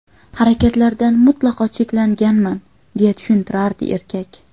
Harakatlardan mutlaqo cheklanganman”, − deya tushuntiradi erkak.